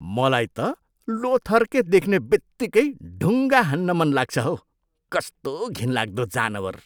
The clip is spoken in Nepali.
मलाई त लोथर्के देख्ने बित्तिकै ढुङ्गा हान्न मनलाग्छ हौ। कस्तो घिनलाग्दो जानवर!